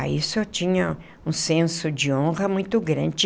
Ah isso eu tinha um senso de honra muito grande.